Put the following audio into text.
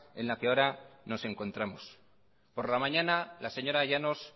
en la que ahora nos encontramos por la mañana la señora llanos